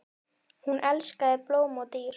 Hún elskaði blóm og dýr.